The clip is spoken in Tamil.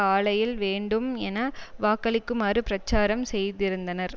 ஆலையில் வேண்டும் என வாக்களிக்குமாறு பிரச்சாரம் செய்திருந்தனர்